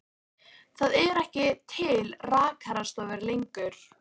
Það eru ekki til rakarastofur lengur.